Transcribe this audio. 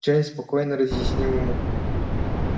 джеймс спокойно разъяснил ему